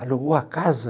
Alugou a casa?